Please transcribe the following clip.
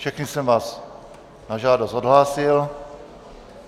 Všechny jsem vás na žádost odhlásil.